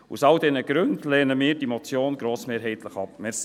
Aus all diesen Gründen lehnen wir diese Motion grossmehrheitlich ab.